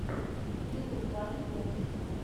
ютуб фанни тунс